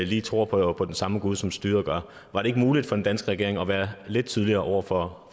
lige tror på på den samme gud som styret gør var det ikke muligt for den danske regering at være lidt tydeligere over for